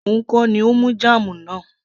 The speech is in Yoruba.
òun kọ́ ni ó mú jam náà